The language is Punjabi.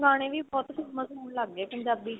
ਗਾਣੇ ਵੀ ਬਹੁਤ famous ਹੋਣ ਲੱਗ ਗਏ ਪੰਜਾਬੀ